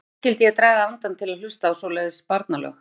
Hví skyldi ég draga andann til að hlusta á svoleiðis barnalög.